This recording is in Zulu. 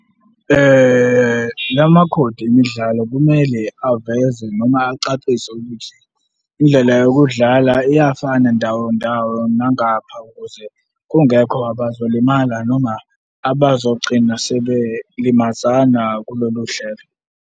La makhodi emidlalo kumele aveze noma acacise ukuthi indlela yokudlala iyafana ndawo ndawo nangapha ukuze kungekho abazolimala noma abazogcina sebelimazana kulolu hlelo.